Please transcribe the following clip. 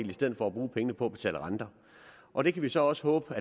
i stedet for at bruge pengene på at betale renter og det kan vi så også håbe